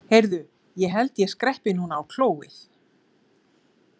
Heyrðu, ég held að ég skreppi núna á klóið.